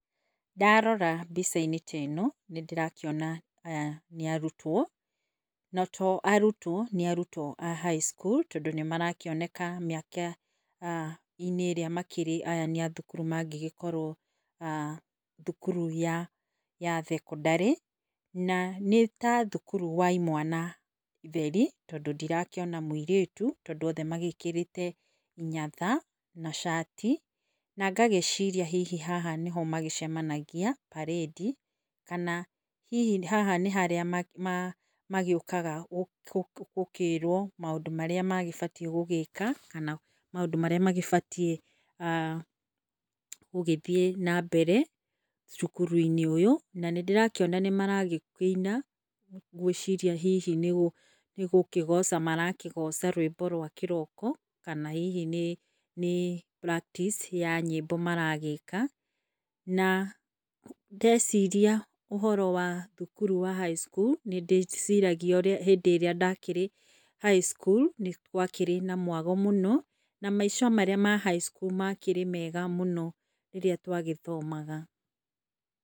Ndarora mbica-inĩ ta ĩno nĩ ndĩrakĩona aya nĩ arutwo. Na to arutwo, nĩ arutwo a high school tondũ nĩ marakĩoneka mĩaka inĩ ĩrĩa makĩrĩ aya nĩ arutwo mangĩkorwo thukuru ya thekondarĩ na nĩ ta thukuru wa imwana theri tondũ ndĩrakĩona mũirĩtu tondũ othe magĩkĩrĩte inyatha na cati na ngagĩciria haha nĩho macemanagia mbarĩndi kana hihi haha nĩharĩa magĩũkaga gũkĩrwo maũndũ marĩa mabatiĩ gwĩka kana maũndũ marĩa magĩbatiĩ gũgĩthiĩ na mbere cukuru -inĩ ũyũ na nĩndĩrakĩona maragĩkĩina ngwĩciria hihi nĩ gũkĩgoca marakĩgoca rwĩmbo rwa kĩroko kana hihi nĩ praktici ya nyĩmbo maragĩka. Na ndeciria ũhoro wa thukuru wa high school hĩndĩ ĩrĩa ndakĩrĩ high school gwakĩrĩ na mwago mũno na maica ma high school makĩrĩ mega mũno rĩrĩa twagĩthomaga.